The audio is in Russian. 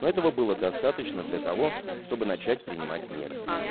ну этого было достаточно для того чтобы начать принимать меры